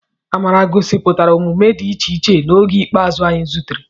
Amara gosipụtara omume dị iche iche n'oge ikpeazụ anyị zutere.